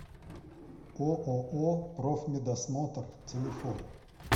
ооо профмедосмотр телефон